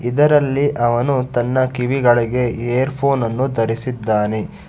ಇದರಲ್ಲಿ ಅವನು ತನ್ನ ಕಿವಿಗಳಿಗೆ ಏರಫೋನ್ ಅನ್ನು ಧರಿಸಿದ್ದಾನೆ.